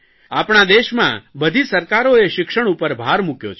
આપણા દેશમાં બધી સરકારોએ શિક્ષણ ઉપર ભાર મૂક્યો છે